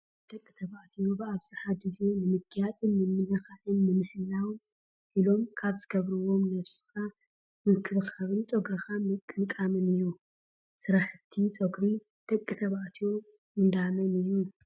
ደቂ ተባዕትዮ ብኣብዛሓ ግዜ ንምግያፅን ምልክዕካ ንምሕላውን ኢሎም ካብ ዝገብርጎም ነብስካ ምክብካብን ፀጉርካ ምቅምቃምን እዩ ስራሕቲ ፀጉሪ ደቂ ተባዕትዮ እንዳመን እዩ?